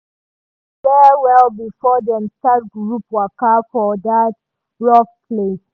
dem read safety rules well-well before dem start group waka for that rough place.